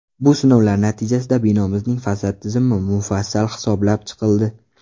Bu sinovlar natijasida binomizning fasad tizimi mufassal hisoblab chiqildi.